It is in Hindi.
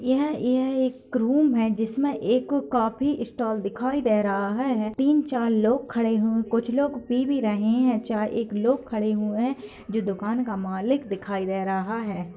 यह यह एक रूम है जिसमे एक कॉफी स्टॉल दिखाई दे रहा है तीन-चार लोग खड़े हुए कुछ लोग पी भी रहे है चाय एक लोग खड़े हुए है जो दुकान का मालिक दिखाई दे रहा है।